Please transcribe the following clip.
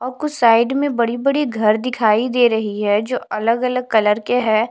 और कुछ साइड में बड़ी-बड़ी घर दिखाई दे रही है जो अलग-अलग कलर के हैं।